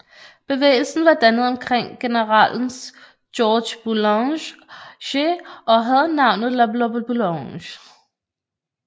Bevægelsen var dannet omkring generalen Georges Boulanger og havde navnet La Boulange